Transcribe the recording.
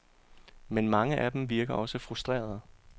Men mange af dem virker også frustrerede.